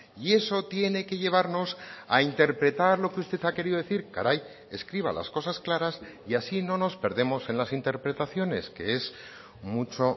y eso tiene que llevarnos a interpretar lo que usted ha querido decir caray escriba las cosas claras y así no nos perdemos en las interpretaciones que es mucho